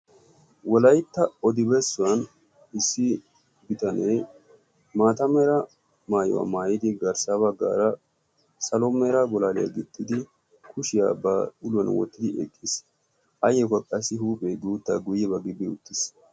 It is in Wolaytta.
Wolaytta odibessuwan issi bitanee maata mera maayuwaa maayidi garssaaba gaara salo mera golaaliyaa gixxidi kushiyaa ba uluwan wottidi eqqiis. ayyo kaqqassi huuphee guuttaa guyyebaa gibbi uttiis.